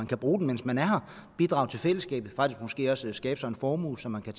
kan bruge den mens man er her og bidrager til fællesskabet faktisk måske også skaber sig en formue som man kan